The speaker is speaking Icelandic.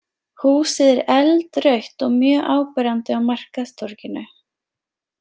Húsið er eldrautt og mjög áberandi á markaðstorginu.